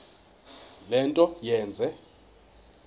le nto yenze